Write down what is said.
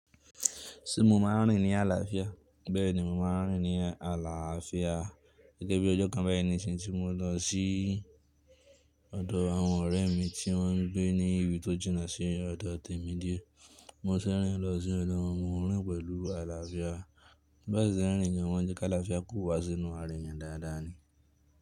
Ṣé mo máa ń rìn ní àlàáfíà? Bẹ́ẹ̀ni, mo máa ń rìn ní àlàáfíà gẹ́gẹ́ bí ọjọ́ kan báyìí níṣin tí mo lọ sí ọ̀dọ̀ àwọn ọ̀rẹ́ mi tí wọ́n ń gbé ní ibi tó jìnà sí ọ̀dọ̀ tèmi díẹ̀. Mo ṣe rin lọ sí ọ̀dọ̀ wọn, mo rìn pẹ̀lú àlàáfíà. Bá ṣé ń rìn ni awọ́n jẹ́ kí àlàáfíà kó wá sínú àra eyan dáadáa ni.